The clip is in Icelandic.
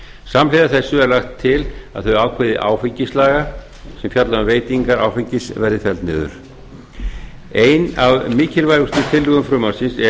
samhliða þessu er lagt til að þau ákvæði áfengislaga sem fjalla um veitingar áfengis verði felld niður ein af mikilvægustu tillögum frumvarpsins